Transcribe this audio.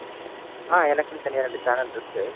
ஆஹ் எனக்குன்னு தனியா ரெண்டு channel இருக்கு.